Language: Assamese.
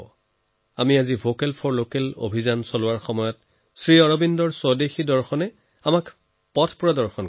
যেনেদৰে আজি আমি লোকেলৰ বাবে ভোকেল এই অভিযানেৰে আগবাঢ়ি আছো সেয়ে শ্ৰী অৰবিন্দৰ স্বদেশীৰ দৰ্শনে আমাক পথ দেখুৱায়